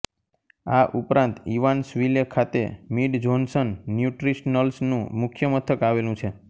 આ ઉપરાંત ઇવાન્સવિલે ખાતે મિડ જ્હોન્સન ન્યુટ્રિશનલ્સનું મુખ્યમથક આવેલું છે